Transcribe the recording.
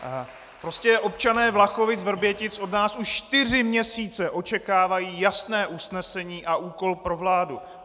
Prostě občané Vlachovic-Vrbětic od nás už čtyři měsíce očekávají jasné usnesení a úkol pro vládu.